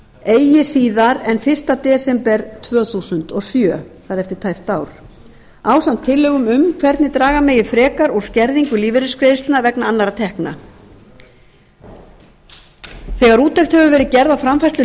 eigi síðar en fyrsta desember tvö þúsund og sjö það er eftir tæpt ár ásamt tillögum um hvernig draga megi frekar úr skerðingu lífeyrisgreiðslna vegna annarra tekna þegar úttekt hefur verið gerð á